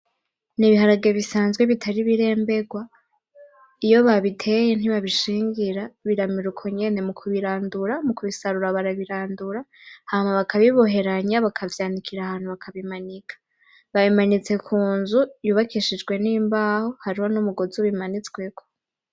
nibiharage bisazwe bitari ibirembegwa iyo babiteye nibabishingira biramera ukonyene mukubirandura mukubisarura barabirandura hama bakabiboheranya bakavyanikira ahantu bakabimanika babimanitse kunzu yubakishijwe nimbaho hariho numugozi bimanitsweko